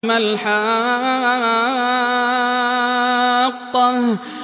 مَا الْحَاقَّةُ